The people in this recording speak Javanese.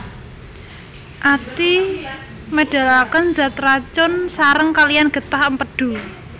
Ati médhalakén zat racun saréng kaliyan gétah Émpédu